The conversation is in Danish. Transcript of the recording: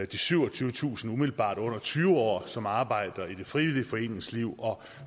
de syvogtyvetusind umiddelbart under tyve år som arbejder i det frivillige foreningsliv og